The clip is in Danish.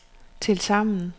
tilsammen